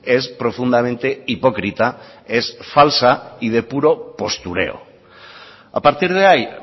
es profundamente hipócrita es falsa y de puro postureo a partir de ahí